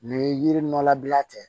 Ni yiri nɔlabila ten